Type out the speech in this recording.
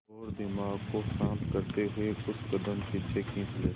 और दिमाग को शांत करते हुए कुछ कदम पीछे खींच लें